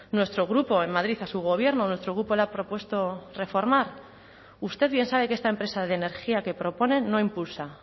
nuestro grupo en madrid a su gobierno nuestro grupo le ha propuesto reformar usted bien sabe que esta empresa de energía que proponen no impulsa